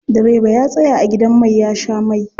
Direba ya tsaya a gidan mai ya sha mai.